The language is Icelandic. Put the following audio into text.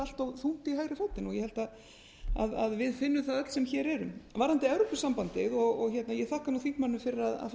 allt of þungt í hægri fótinn og ég held að við finnum það öll sem hér erum varðandi evrópusambandið og ég þakka þingmanninum fyrir